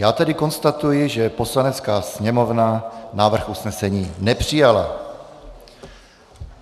Já tedy konstatuji, že Poslanecká sněmovna návrh usnesení nepřijala.